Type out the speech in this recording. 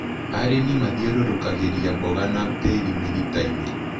Arĩmi mathiũrũkagĩria mboga na tĩri mĩritainĩ.